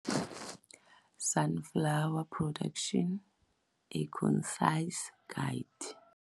Sunflower production - A Concise Guide.